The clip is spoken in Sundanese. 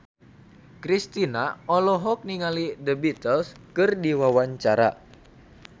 Kristina olohok ningali The Beatles keur diwawancara